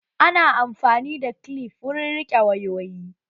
Ana amfani da kilif wurin riƙe wayoyi